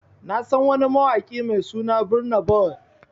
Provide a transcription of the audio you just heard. Na San wani mawaki Mai suna Burna Boy.